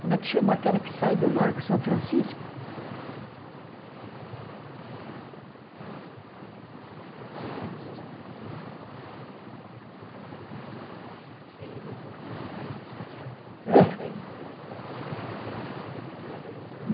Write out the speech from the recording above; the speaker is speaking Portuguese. Como é que chama aquela que sai do Largo São Francisco?